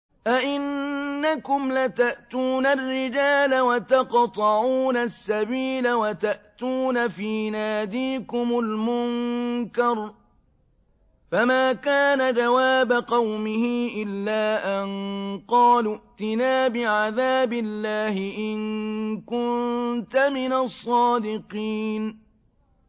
أَئِنَّكُمْ لَتَأْتُونَ الرِّجَالَ وَتَقْطَعُونَ السَّبِيلَ وَتَأْتُونَ فِي نَادِيكُمُ الْمُنكَرَ ۖ فَمَا كَانَ جَوَابَ قَوْمِهِ إِلَّا أَن قَالُوا ائْتِنَا بِعَذَابِ اللَّهِ إِن كُنتَ مِنَ الصَّادِقِينَ